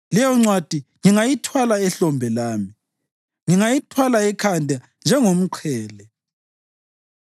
Leyoncwadi ngingayithwala ehlombe lami, ngingayithwala ekhanda njengomqhele.